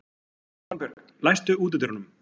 Svanbjörg, læstu útidyrunum.